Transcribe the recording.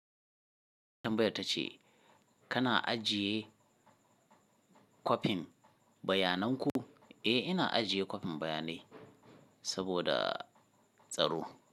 Tambayar ta ce kana ajiye kwafin bayanan ku? Eh, ina ajiye kwafin bayanai saboda tsaro.